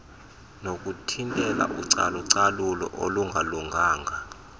nokuthintela ucalucalulo olungalunganga